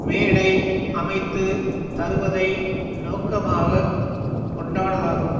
மேடை அமைத்து தருவதை நோக்கமாக கொண்டாடதாகும்